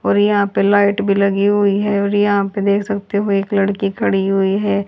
और यहां पे लाइट भी लगी हुई है और यहां पे देख सकते हो एक लड़की खड़ी हुई है।